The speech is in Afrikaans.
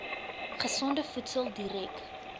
gesonde voedsel direk